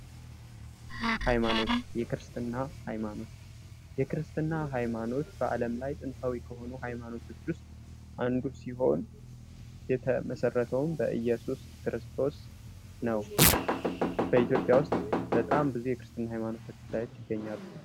ሃይማኖት ፤የክርስትና ሃይማኖት፦ የክርስትና ሃይማኖት በዓለም ላይ ጥንታዊ ከሆኑ ሃይማኖቶች ውስጥ አንዱ ሲሆን የተመሰረተውን በኢየሱስ ክርስቶስ ነው። በኢትዮጵያ ውስጥ በጣም ብዙ የክርስትና ሃይማኖታዊ ተከታዮች ትገኛሉ።